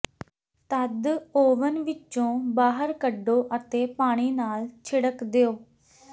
ਤਦ ਓਵਨ ਵਿੱਚੋਂ ਬਾਹਰ ਕੱਢੋ ਅਤੇ ਪਾਣੀ ਨਾਲ ਛਿੜਕ ਦਿਓ